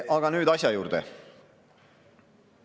Aga nüüd asja juurde.